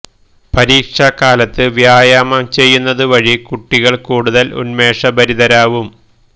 പരീക്ഷാ കാലത്ത് വ്യായാമം ചെയ്യുന്നത് വഴി കുട്ടികൾ കൂടുതൽ ഉന്മേഷഭരിതരാവും